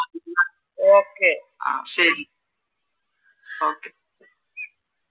ആഹ് ശെരി okay